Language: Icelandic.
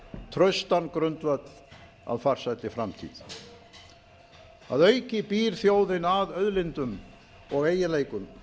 traustan grundvöll að farsælli framtíð að auki býr þjóðin að auðlindum og eiginleikum